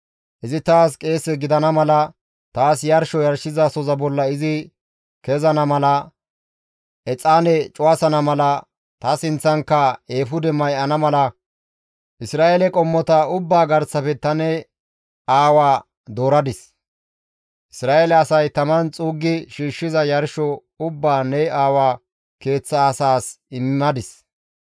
Izi taas qeese gidana mala, taas yarsho yarshizasoza bolla izi kezana mala, exaane cuwasana mala, ta sinththankka eefude may7ana mala Isra7eele qommota ubbaa garsafe ta ne aawaa dooradis. Isra7eele asay taman xuuggi shiishshiza yarsho ubbaa ne aawaa keeththa asaas immadis.